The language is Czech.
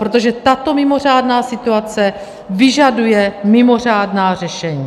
Protože tato mimořádná situace vyžaduje mimořádná řešení.